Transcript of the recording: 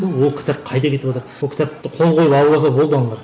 бұл ол кітап қайда кетіватыр ол кітапты қол қойып алып алса болды аналар